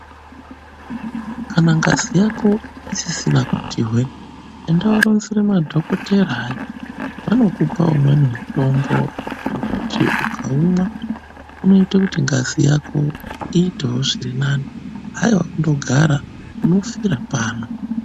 Kana ngazi yako isisina kuti hwee, enda woronzera madhokotera, anokupe umweni mutombo wekuti ukaumwa unoite kuti ngazi yako iitewo zvirinani haiwa kungogara unofira pano.